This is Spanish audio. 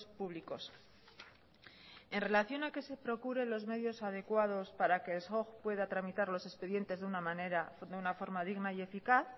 públicos en relación a que se procuren los medios adecuados para que el soj pueda tramitar los expedientes de una forma digna y eficaz